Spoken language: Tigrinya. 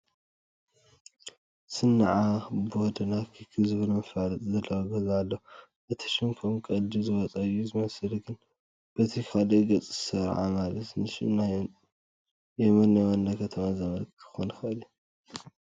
ሰንዓ ዳቦና ኬክ ዝብል መፋለጢ ዘለዎ ገዛ ኣሎ፡፡ እዚ ሽም ከም ቀልዲ ዝወፀ እዩ ዝመስል፡፡ ግን በቲ ካልእ ገፅ ሰራዓ ማለት ንሽም ናይ የመን ዋና ከተማ ዘመልክት ክኾን ይኽእል እዩ፡፡